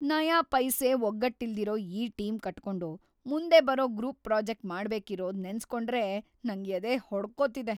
ನಯಾಪೈಸೆ ಒಗ್ಗಟ್ಟಿಲ್ದಿರೋ ಈ ಟೀಮ್‌ ಕಟ್ಕೊಂಡು ಮುಂದೆ ಬರೋ ಗ್ರೂಪ್‌ ಪ್ರಾಜೆಕ್ಟ್‌ ಮಾಡ್ಬೇಕಿರೋದ್ ನೆನ್ಸ್‌ಕೊಂಡ್ರೇ ನಂಗ್ ಎದೆ ಹೊಡ್ಕೊತಿದೆ.